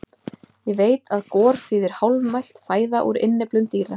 Ég veit að gor þýðir hálfmelt fæða úr innyflum dýra.